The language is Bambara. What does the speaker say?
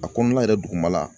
A kɔnɔna yɛrɛ duguma la